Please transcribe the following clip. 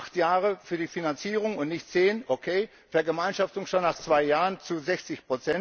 Acht Jahre für die Finanzierung und nicht zehn okay, Vergemeinschaftung schon nach zwei Jahren zu 60.